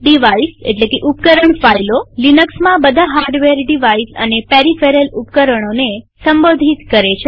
ડિવાઇઝઉપકરણ ફાઈલોલિનક્સમાં બધા hardware devices અને પેરીફેરલ ફાઈલ રૂપે સંબોધિત થાય છે